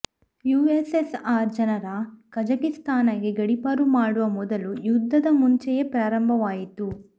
USSR ಜನರ ಕಝಾಕಿಸ್ತಾನ್ಗೆ ಗಡೀಪಾರು ಮಾಡುವ ಮೊದಲು ಯುದ್ಧದ ಮುಂಚೆಯೇ ಪ್ರಾರಂಭವಾಯಿತು